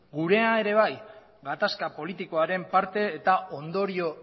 gurea ere bai gatazka politikoaren parte eta ondorio